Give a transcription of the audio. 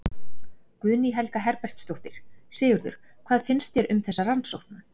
Guðný Helga Herbertsdóttir: Sigurður, hvað finnst þér um þessa rannsókn?